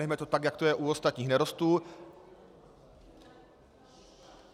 Nechme to tak, jak to je u ostatních nerostů.